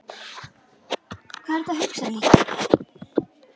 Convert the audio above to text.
Hvað ertu að hugsa, Nikki?